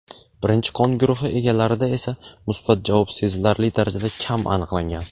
Birinchi qon guruhi egalarida esa musbat javob sezilarli darajada kam aniqlangan.